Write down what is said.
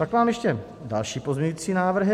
Pak mám ještě další pozměňující návrhy.